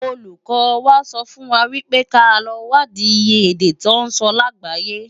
Ólúkò wá sòfúnwá wipé ká lò wádi iyé èdè tò nsò lágbáyé